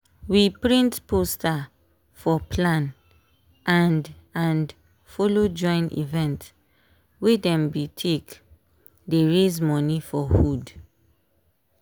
we print poster for plan and and follow join event wey dem be take dey raise money for hood.